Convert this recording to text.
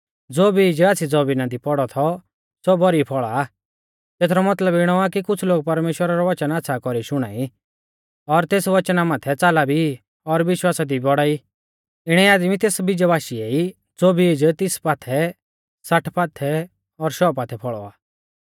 ज़ो बीज आच़्छ़ी ज़मीना दी पौड़ौ थौ सौ भौरी फौल़ा आ तेथरौ मतलब इणौ आ कि कुछ़ लोग परमेश्‍वरा रौ वचन आच़्छ़ा कौरीऐ शुणाई और तेस वचना माथै च़ाला भी और विश्वासा दी बौढ़ा ई इणै आदमी तेस बीजा बाशीऐ ई ज़ो बीज तीस पाथै साठ पाथै और शौ पाथै फौल़ौ आ